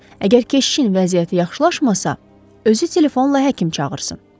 Əgər keşişin vəziyyəti yaxşılaşmasa, özü telefonla həkim çağırsın.